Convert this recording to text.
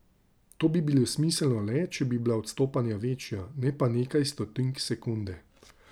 To bi bilo smiselno le, če bi bila odstopanja večja, ne pa nekaj stotink sekunde.